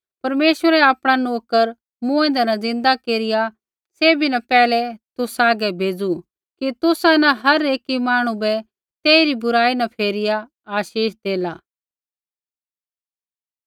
परमेश्वरै आपणा नोकर मूँऐंदै न ज़िन्दा केरिया सैभी न पैहलै तुसा हागै भेज़ू कि तुसा न हर एकी मांहणु बै तेई री बुराई न फेरिया आशीष देला